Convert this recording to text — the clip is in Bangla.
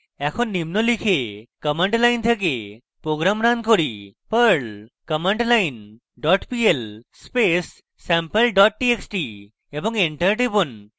এখন নিম্ন লিখে command line থেকে program রান করি: perl commandline dot pl space sample dot txt এবং enter টিপুন